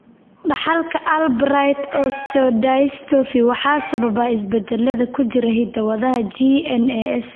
Dhaxalka Albright osteodystophy waxaa sababa isbeddellada ku jira hidda-wadaha GNAS.